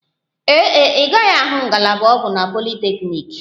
Ee e, ị gaghị ahụ ngalaba ọgwụ na politeknik